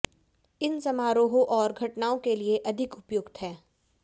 इन समारोहों और घटनाओं के लिए अधिक उपयुक्त है